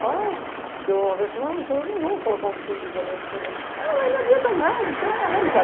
Falar... Porque eu uma vez falei, Ah michel, não vou colocar um filme de violência... Ah, mas não adianta nada, isso é a realidade.